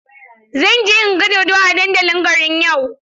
Zan je in ga dodo a dandalin garin yau.